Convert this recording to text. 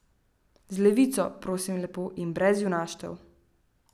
Z levico, prosim lepo, in brez junaštev.